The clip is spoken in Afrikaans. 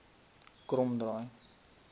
kromdraai